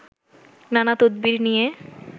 নানা তদবির নিয়ে